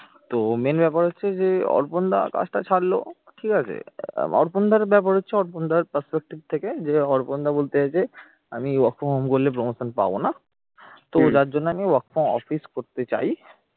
তো main ব্যাপার হচ্ছে যে অর্পণ দা কাজটা ছাড়লো ঠিক আছে? অর্পণ দার ব্যাপার হচ্ছে অর্পণ দার perspective থেকে যে অর্পণ দা বলতে চাইছে আমি work from home করলে promotion পাব না তো যার জন্য আমি work from office করতে চাই